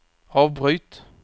avbryt